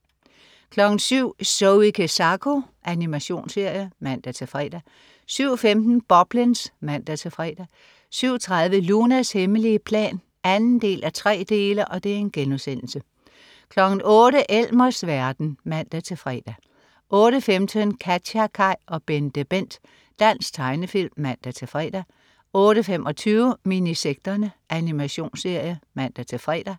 07.00 Zoe Kezako. Animationsserie (man-fre) 07.15 Boblins (man-fre) 07.30 Lunas hemmelige plan 2:3* 08.00 Elmers verden (man-fre) 08.15 KatjaKaj og BenteBent. Dansk tegnefilm (man-fre) 08.25 Minisekterne. Animationsserie (man-fre)